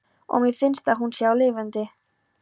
Og mér finnst að hún sé lifandi.